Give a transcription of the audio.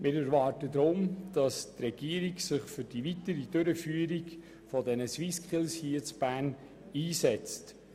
Wir erwarten deshalb, dass sich die Regierung für die weitere Durchführung der SwissSkills in Bern einsetzt.